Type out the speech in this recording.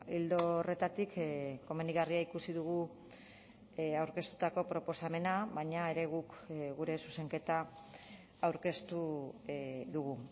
ildo horretatik komenigarria ikusi dugu aurkeztutako proposamena baina ere guk gure zuzenketa aurkeztu dugu